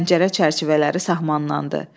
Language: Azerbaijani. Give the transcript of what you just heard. Pəncərə çərçivələri sahmanlandı.